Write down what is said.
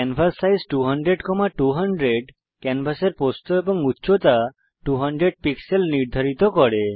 canvas size 200200 ক্যানভাসের প্রস্থ এবং উচ্চতা 200 পিক্সেল নির্ধারিত করে